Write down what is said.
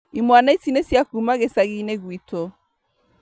Imwana ici nĩ cia kuma gĩcagi-inĩ gwitũ